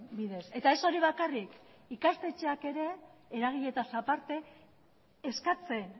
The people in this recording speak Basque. bidez eta ez hori bakarrik ikastetxeak ere eragileetaz aparte eskatzen